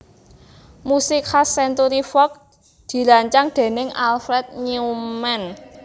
Musik khas Century Fox dirancang déning Alfred Newman